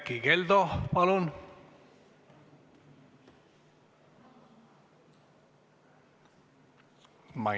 Erkki Keldo, palun!